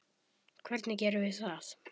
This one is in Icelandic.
Hvernig gerum við það?